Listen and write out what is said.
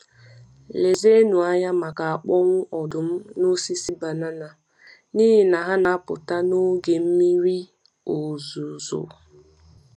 Lezienụ anya maka akpụ̀wụ̀ ọdụm n’osisi banana, n’ihi na ha na-apụta n’oge mmiri ozuzo.